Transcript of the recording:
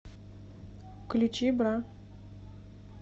включи бра